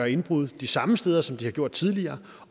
indbrud de samme steder som de har gjort tidligere